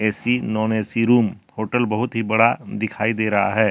Non A C room hotel बहुत ही बड़ा दिखाई दे रहा है।